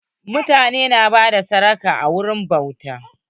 Mutane na bada sadaka a wuraren bauta.